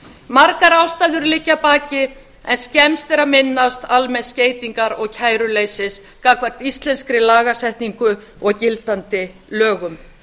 margar ástæður liggja að baki en skemmst er að minnast almenns skeytingar og kæruleysis gagnvart íslenskri lagasetningu og gildandi lögum